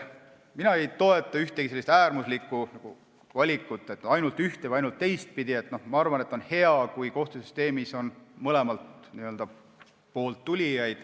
Mina ei toeta äärmuslikku valikut, et oleks ainult ühte- või ainult teistpidi, arvan, et on hea, kui kohtusüsteemi tullakse mõlemalt poolt.